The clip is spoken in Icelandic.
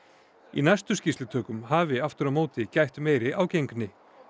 í næstu skýrslutökum hafi aftur á móti gætt meiri ágengni